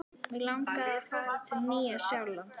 Mig langar að fara til Nýja-Sjálands.